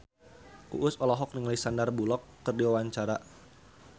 Uus olohok ningali Sandar Bullock keur diwawancara